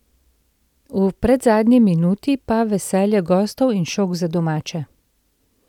V predzadnji minuti pa veselje gostov in šok za domače.